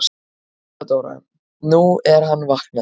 THEODÓRA: Nú, hann er vaknaður.